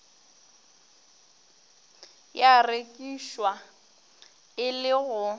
ya rekišwa e le go